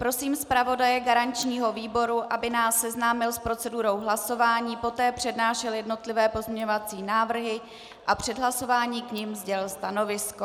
Prosím zpravodaje garančního výboru, aby nás seznámil s procedurou hlasování, poté přednášel jednotlivé pozměňovací návrhy a před hlasováním k nim sdělil stanovisko.